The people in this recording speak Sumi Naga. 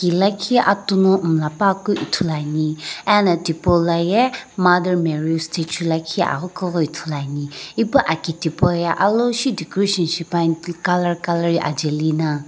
lakhi atu no miila pa keu ithulu ane ano thipoloye mother marry statue lakhi aghi keu ghi ithulu ane ipu aki thipu ye aloshi decoration shipane colour colour ajae lina.